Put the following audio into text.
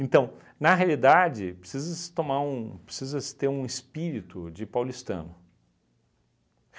Então, na realidade, precisa-se tomar um precisa-se ter um espírito de paulistano.